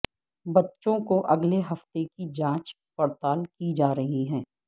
بچوں کو اگلے ہفتوں کی جانچ پڑتال کی جا رہی ہے